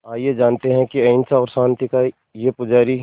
आइए जानते हैं कि अहिंसा और शांति का ये पुजारी